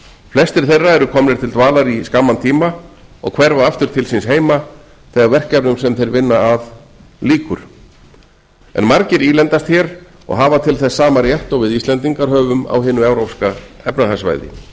flestir þeirra eru komnir til dvalar í skamman tíma og hverfa aftur til síns heima þegar verkefnum sem þeir vinna að lýkur en margir ílengjast hér og hafa til þess sama rétt og við íslendingar höfum á hinu evrópska efnahagssvæði